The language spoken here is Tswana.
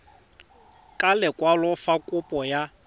ka lekwalo fa kopo ya